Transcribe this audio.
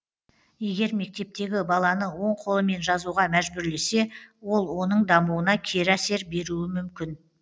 егер мектептегі баланы оң қолымен жазуға мәжбүрлесе ол оның дамуына кері әсер беруі мүмкін